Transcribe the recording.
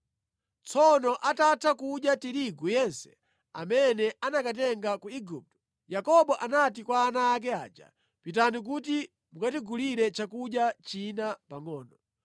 Tsono atatha kudya tirigu yense amene anakatenga ku Igupto, Yakobo anati kwa ana ake aja, “Pitani kuti mukatigulire chakudya china pangʼono.”